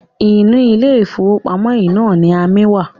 Inú ilé-ìfowópamọ́ yìí náà ni amí wa.